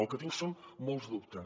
el que tinc són molts dubtes